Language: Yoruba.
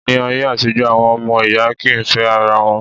Ní ayé àtijọ́, àwọn ọmọ ìyá kì í fẹ́ ara wọn.